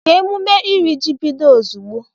Ka emume iri ji bido ozugbo!